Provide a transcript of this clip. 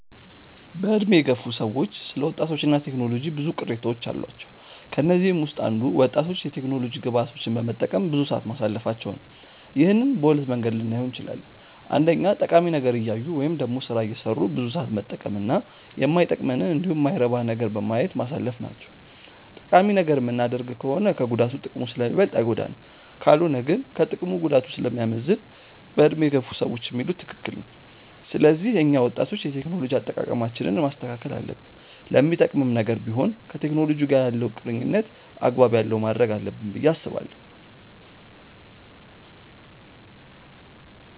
በዕድሜ የገፉ ሰዎች ስለ ወጣቶች እና ቴክኖሎጂ ብዙ ቅሬታዎች አሏቸው። ከነዚህም ውስጥ አንዱ ወጣቶች የቴክኖሎጂ ግብአቶችን በመጠቀም ብዙ ሰዓት ማሳለፋቸው ነው። ይህንን በሁለት መንገድ ልናየው እንችላለን። አንደኛ ጠቃሚ ነገር እያዩ ወይም ደግሞ ስራ እየሰሩ ብዙ ሰዓት መጠቀም እና ማይጠቅመንንን እንዲሁም የማይረባ ነገርን በማየት ማሳለፍ ናቸው። ጠቃሚ ነገር የምናደርግ ከሆነ ከጉዳቱ ጥቅሙ ስለሚበልጥ አይጎዳንም። ካልሆነ ግን ከጥቅሙ ጉዳቱ ስለሚያመዝን በዕድሜ የገፉ ሰዎች የሚሉት ትክክል ነው። ስለዚህ እኛ ወጣቶች የቴክኖሎጂ አጠቃቀማችንን ማስተካከል አለብን። ለሚጠቅምም ነገር ቢሆን ከቴክኖሎጂ ጋር ያለንን ቁርኝነት አግባብ ያለው ማድረግ አለብን ብዬ አስባለሁ።